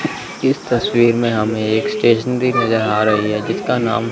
इस तस्वीर में हमें एक स्टेशनरी नजर आ रही है जिसका नाम--